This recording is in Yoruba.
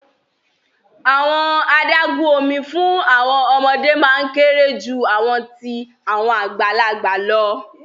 Awọn adagun omi fun awọn ọmọde maa n kere ju awọn ti awọn agbalagba lọ